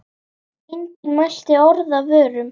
Enginn mælti orð af vörum.